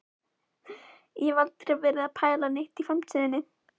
Ég hef ekki verið að pæla neitt í framtíðinni.